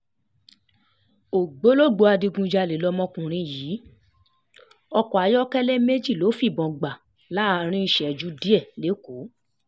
ògbólógbòó adigunjalè lọmọkùnrin yìí ọkọ̀ ayọ́kẹ́lẹ́ méjì ló fìbọn gbà láàrin ìṣẹ́jú díẹ̀ lẹ́kọ̀ọ́